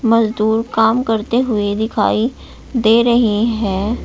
मजदूर काम करते हुए दिखाई दे रहें हैं।